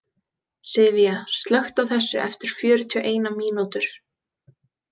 Sivía, slökktu á þessu eftir fjörutíu og eina mínútur.